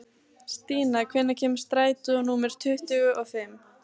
Stína, hvenær kemur strætó númer tuttugu og fimm?